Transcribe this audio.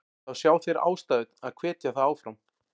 Þá sjá þeir ástæðu að hvetja þá áfram.